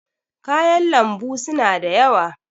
kayan lambu suna da yawa